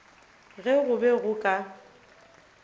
ge go be go ka